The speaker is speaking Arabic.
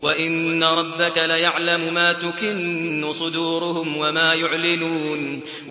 وَإِنَّ رَبَّكَ لَيَعْلَمُ مَا تُكِنُّ صُدُورُهُمْ وَمَا يُعْلِنُونَ